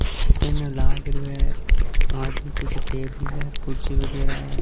इसके अंदर लागरो है आदमी पीछे टेबल है कुर्सी वगेरा है।